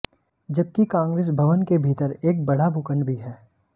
जबकि कांग्रेस भवन के भीतर एक बड़ा भूखंड भी है